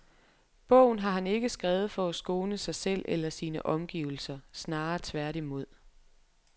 Bogen har han ikke skrevet for at skåne sig selv eller sine omgivelser, snarere tværtimod.